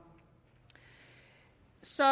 så